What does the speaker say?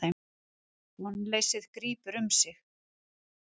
Vonleysið grípur um sig.